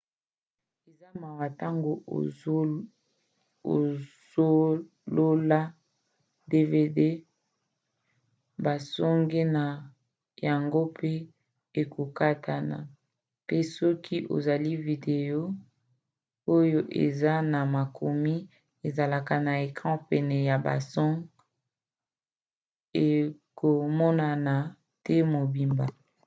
eza mawa ntango osolola dvd basonge na yango pe ekokatana pe soki osali video oyo eza na makomi ezoleka na ecran pene ya basonge ekomonana te mobimba